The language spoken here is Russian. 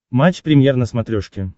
матч премьер на смотрешке